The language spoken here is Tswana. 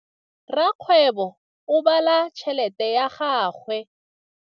Rakgwêbô o bala tšheletê ya gagwe.